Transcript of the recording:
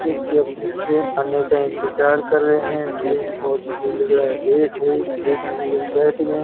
जो की अपनी ट्रेन आने का इंतज़ार कर रहे हैं। ट्रेन बहोत ही लग रहा है लेट है इसलिए सभी लोग बैठ गएँ --